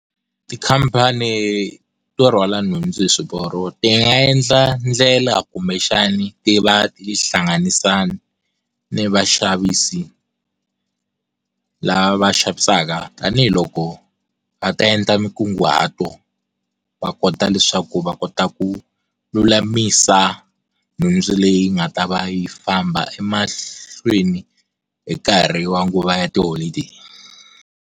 Tikhampani to rhwala nhundzu hi swiporo ti nga endla ndlela kumbe xana ti va hlanganisa ni vaxavisi lava xavisaka tanihiloko va ta endla mikunguhato va kota leswaku va kota ku lulamisa nhundzu leyi nga ta va yi famba emahlweni hi nkarhi wa nguva ya tiholideyi.